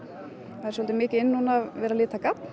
það er svolítið mikið inn núna að lita garn